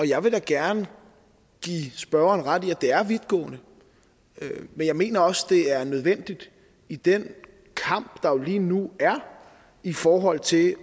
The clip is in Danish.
jeg vil da gerne give spørgeren ret i at det er vidtgående men jeg mener også det er nødvendigt i den kamp der jo lige nu er i forhold til